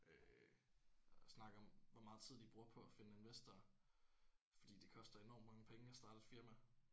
Øh og snakket om hvor meget tid de bruger på at finde investorer fordi det koster enormt mange penge at starte et firma